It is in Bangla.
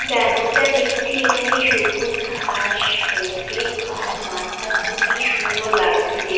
যেমনটা দেখছি এখানে সবুজ ঘাস রয়েছে খার মাঠটা খুবই সুন্দর লাগছে দেখ--